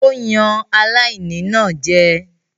Ó yan aláìní náà jẹ.